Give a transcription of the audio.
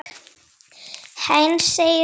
Heinz segir svo frá